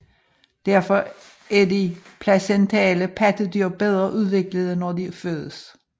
Derfor er de placentale pattedyr bedre udviklede når de fødes